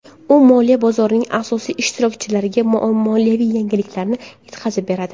U moliya bozorining asosiy ishtirokchilariga moliyaviy yangiliklarni yetkazib beradi.